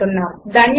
ధన్యవాదములు